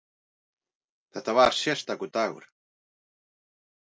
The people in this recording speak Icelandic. Þetta var sérstakur dagur.